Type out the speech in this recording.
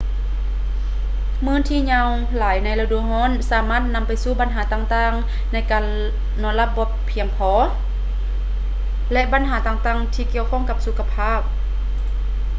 ມື້ທີ່ຍາວຫຼາຍໃນລະດູຮ້ອນ ສາມາດນຳໄປສູ່ບັນຫາຕ່າງໆ ໃນການນອນຫຼັບໃຫ້ພຽງພໍ ແລະ ບັນຫາຕ່າງໆ ທີ່ກ່ຽວຂ້ອງກັບສຸຂະພາບ